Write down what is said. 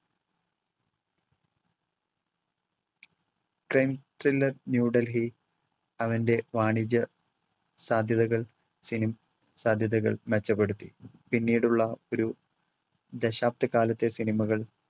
crime thriller New Delhi അവൻ്റെ വാണിജ്യ സാധ്യതകൾ, film സാധ്യതകൾ മെച്ചപ്പെടുത്തി. പിന്നീടുള്ള ഒരു ദശാബ്ദ കാലത്തെ സിനിമകൾ